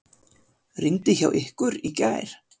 Rigndi hjá ykkur í gær?